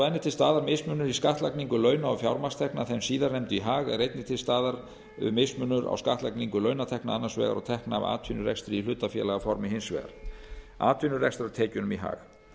og enn er til staðar mismunur í skattlagningu launa og fjármagnstekna þeim síðarnefndu í hag er einnig til staðar mismunur á skattlagningu launatekna annars vegar og tekna af atvinnurekstri í hlutafélagaformi hins vegar atvinnurekstrartekjunum í hag